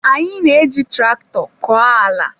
Anyị na-eji traktọ kọọ ala.